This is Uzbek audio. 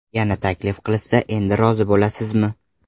Yana taklif qilishsa, endi rozi bo‘lasizmi?